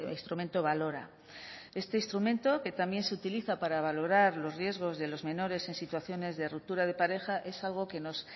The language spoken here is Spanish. instrumento valora este instrumento que también se utiliza para valorar los riesgos de los menores en situaciones de ruptura de pareja es algo que nos